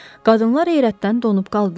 Qadınlar heyrətdən donub qaldılar.